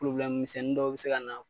Ploblɛm misɛnni dɔw be se kana